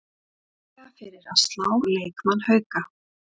Líklega fyrir að slá leikmann Hauka